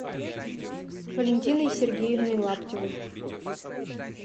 валентиной сергеевной лаптевой